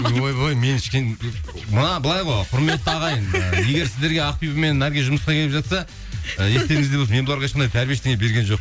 ойбой мен маған былай ғой құрметті ағайын ы егер сіздерге ақбибі мен наргиз жұмысқа келіп жатса ы естеріңізде болсын мен бұларға ешқандай тәрбие ештеңе берген